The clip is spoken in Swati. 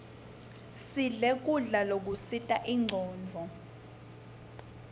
sidle kudla lokusita incondvo